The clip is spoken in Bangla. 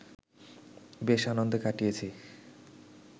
বেশ আনন্দে কাটিয়েছি